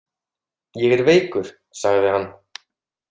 Ég er veikur, sagði hann.